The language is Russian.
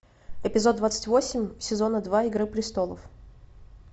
эпизод двадцать восемь сезона два игры престолов